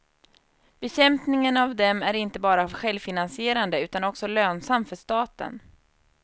Bekämpningen av dem är inte bara självfinansierande utan också lönsam för staten.